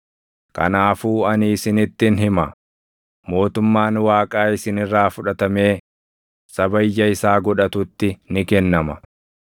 “Kanaafuu ani isinittin hima; mootummaan Waaqaa isin irraa fudhatamee saba ija isaa godhatutti ni kennama.